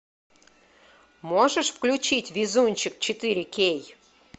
можешь включить везунчик четыре кей